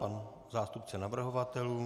Pan zástupce navrhovatelů.